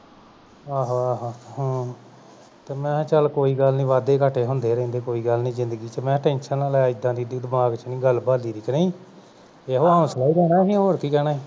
ਆਹੋ ਆਹੋ ਹੂ ਤੇ ਮੈਂ ਕਿਹਾ ਕੋਈ ਗਲ ਨਹੀਂ ਵਾਧੇ ਘਾਟੇ ਹੁੰਦੇ ਰਹਿੰਦੇ ਹਾਂ ਕੋਈ ਗਲ ਨਹੀਂ ਜ਼ਿੰਦਗੀ ਦੇ ਵਿਚ tension ਨਾ ਲੈ ਏਨੀ ਦਮਾਗ ਚ ਨਹੀਂ ਗਲ ਬਲੀ ਦੀ ਕ ਨਹੀਂ ਇਹੋ ਹੋਂਸਲਾ ਹੀ ਦੇਣਾ ਸੀ ਹੋਰ ਕੀ ਕਹਿਣਾ ਸੀ